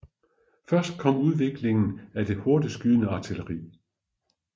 Først kom udviklingen af det hurtigtskydende artilleri